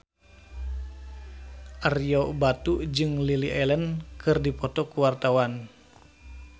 Ario Batu jeung Lily Allen keur dipoto ku wartawan